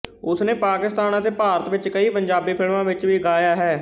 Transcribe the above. ਉਸਨੇ ਪਾਕਿਸਤਾਨ ਅਤੇ ਭਾਰਤ ਵਿੱਚ ਕਈ ਪੰਜਾਬੀ ਫਿਲਮਾਂ ਵਿੱਚ ਵੀ ਗਾਇਆ ਹੈ